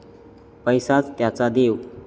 पैसाच त्याचा देव.